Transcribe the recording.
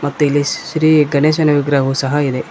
ಮತ್ತೆ ಇಲ್ಲಿ ಶ್ರೀ ಗಣೇಶನ ವಿಗ್ರಹವು ಸಹ ಇದೆ.